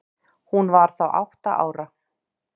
Hún var þá átta ára.